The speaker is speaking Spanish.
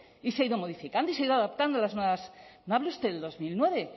y se ha ido modificando y se ha ido adaptando a las nuevas no hable usted de dos mil nueve